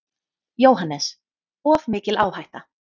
JÓHANNES: Of mikil áhætta.